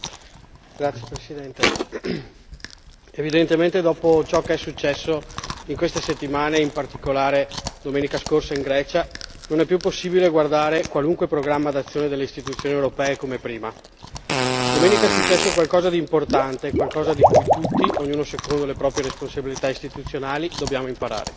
Signor Presidente, onorevoli colleghi, evidentemente dopo ciò che è successo in queste settimane, e in particolare domenica scorsa in Grecia, non è più possibile guardare qualunque programma d'azione delle Istituzioni europee come prima domenica è successo qualcosa d'importante, qualcosa da cui tutti ognuno secondo le proprie responsabilità istituzionali dobbiamo imparare.